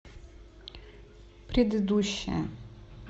предыдущая